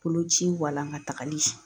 Boloci walankatagali